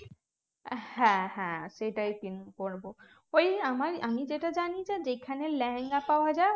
হ্যাঁ হ্যাঁ সেটাই কিন্তু করবো ওই আমার আমি যেটা জানি যেখানে লেহেঙ্গা পাওয়া যায়